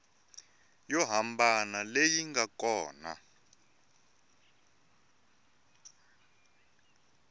yo hambana leyi nga kona